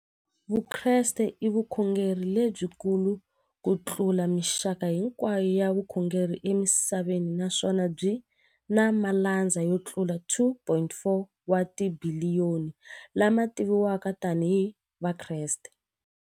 Vukreste i vukhongeri lebyi kulu kutlula mixaka hinkwayo ya vukhongeri emisaveni, naswona byi na malandza yo tlula 2.4 wa tibiliyoni, la ma tiviwaka tani hi Vakreste.